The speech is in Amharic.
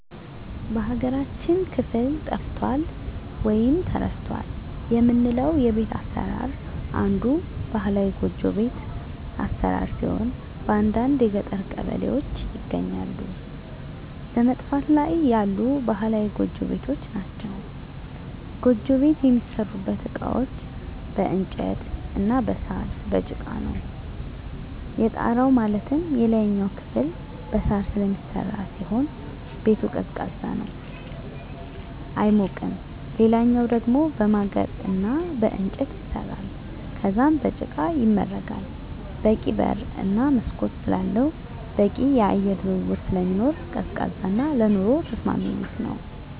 በሀገራችን ክፍል ጠፍቷል ወይም ተረስቷል የምለው የቤት አሰራር አንዱ ባህላዊ ጎጆ ቤት አሰራር ሲሆን በአንዳንድ የገጠር ቀበሌዎች ይገኛሉ በመጥፋት ላይ ያሉ ባህላዊ ጎጆ ቤቶች ናቸዉ። ጎጆ ቤት የሚሠሩበት እቃዎች በእንጨት እና በሳር፣ በጭቃ ነው። የጣራው ማለትም የላይኛው ክፍል በሳር ስለሚሰራ ሲሆን ቤቱ ቀዝቃዛ ነው አይሞቅም ሌላኛው ደሞ በማገር እና በእንጨት ይሰራል ከዛም በጭቃ ይመረጋል በቂ በር እና መስኮት ስላለው በቂ የአየር ዝውውር ስለሚኖር ቀዝቃዛ እና ለኑሮ ተስማሚ ቤት ነው።